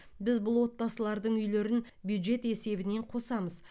біз бұл отбасылардың үйлерін бюджет есебінен қосамыз